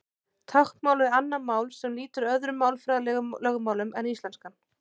Táknmál er annað mál sem lýtur öðrum málfræðilegum lögmálum en íslenskan.